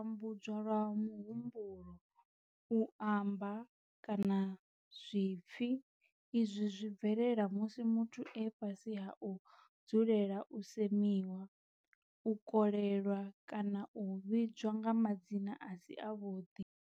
U tambudzwa lwa muhumbulo, u amba kana zwipfi izwi zwi bvelela musi muthu e fhasi ha u dzulela u semiwa, u kolelwa kana u vhidzwa nga madzina a si avhuḓi.